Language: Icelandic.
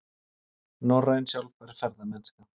Norræn sjálfbær ferðamennska